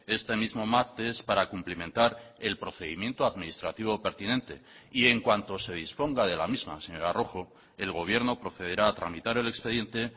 este mismo martes para cumplimentar el procedimiento administrativo pertinente y en cuanto se disponga de la misma señora rojo el gobierno procederá a tramitar el expediente